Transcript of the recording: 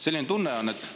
Selline tunne on, et …